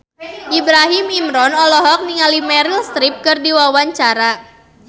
Ibrahim Imran olohok ningali Meryl Streep keur diwawancara